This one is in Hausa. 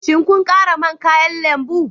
Shin kun kara man kayan lambu